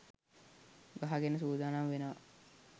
ගහගෙන සූදානම් වෙනව